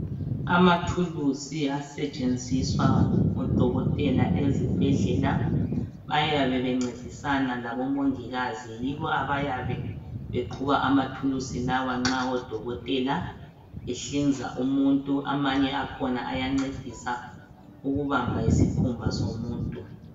Amathulusi asetshenziswa ngodokotela ezibhedlela. Bayabe bencedisana labomongikazi. Yibo abayabe beqhuba amathulusi lawa, nxa odokotela behlinza umuntu. Amanye akhona ayancedisa ukubamba isikhumba somuntu.